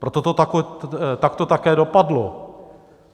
Proto to takto také dopadlo.